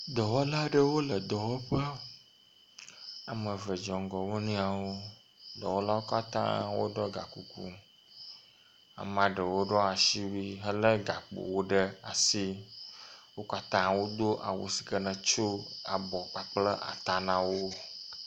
Dɔwɔla aɖewo le dɔwɔƒea. Ame eve dze ŋgɔ wo nɔewo. Dɔwɔlawo katã woɖɔ gakuku. Ame aɖewo ɖɔ asiwui helé gakpowo ɖe asi. Wo katã wodo awu si ke ne tso abɔ kpakple ata na wo.